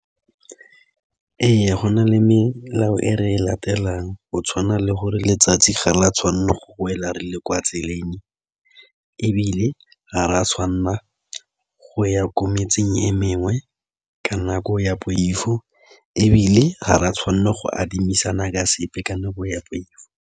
Ee, go na le melao e re e latelang go tshwana le gore letsatsi ga la tshwanela go wela re le kwa tseleng ebile ga re a tshwanela go ya ko metseng e mengwe ka nako ya poifo ebile ga re a tshwanela go adimisanang ka sepe ka nako ya poifo.